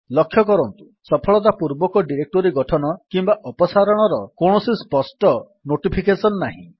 ଲକ୍ଷ୍ୟ କରନ୍ତୁ ସଫଳତାପୂର୍ବକ ଡିରେକ୍ଟୋରୀ ଗଠନ କିମ୍ୱା ଅପସାରଣର କୌଣସି ସ୍ପଷ୍ଟ ନୋଟିଫିକେସନ୍ ନାହିଁ